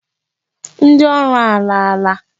Ndị ọrụ alaala.